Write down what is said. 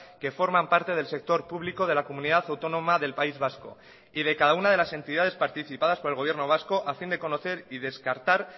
que forman parte del sector público de la comunidad autónoma del país vasco y de cada una de las entidades participadas por el gobierno vasco a fin de conocer y descartar